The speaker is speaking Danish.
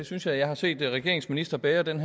synes jeg har set regeringens ministre bære den